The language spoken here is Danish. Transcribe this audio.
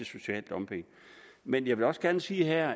social dumping men jeg vil også gerne sige her